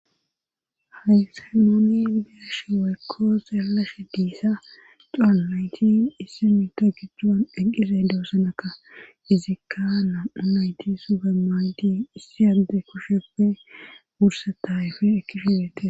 haisemooni beeshe weekko zeelehe diissa xon naytin issimi ta gituwan eqqesey doosanakka izikka na unayti sufe maydi issiyade kusheppe wursa tayfe ekkifirete